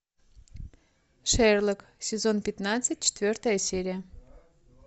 шерлок сезон пятнадцать четвертая серия